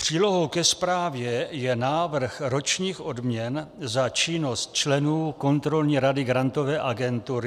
Přílohou ke zprávě je návrh ročních odměn za činnost členů kontrolní rady Grantové agentury.